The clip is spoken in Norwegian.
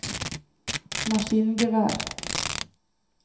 maskingevær